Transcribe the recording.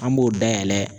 An b'o dayɛlɛ